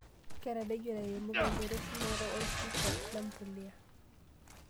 Keitoduaya ilairemok enchoto eshumata orpipa lempulia.